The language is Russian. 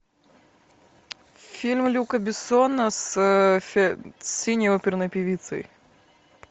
фильм люка бессона с синей оперной певицей